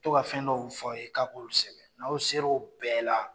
U to ka fɛn dɔw fɔ a' ye k'a k'olu kosɛbɛ n'a' sera o bɛɛ la